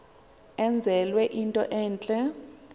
enzelwe into entle